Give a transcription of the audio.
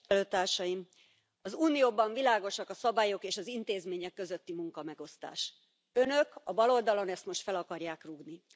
Tisztelt Elnök úr! Az Unióban világosak a szabályok, és az intézmények közötti munkamegosztás. Önök a baloldalon ezt most fel akarják rúgni.